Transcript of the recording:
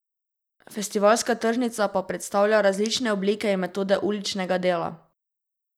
Festivalska tržnica pa predstavlja različne oblike in metode uličnega dela.